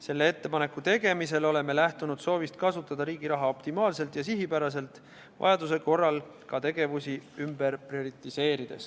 Selle ettepaneku tegemisel oleme lähtunud soovist kasutada riigi raha optimaalselt ja sihipäraselt, vajaduse korral ka tegevusi ümber prioriseerides.